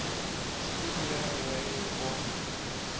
stevie ray vaughan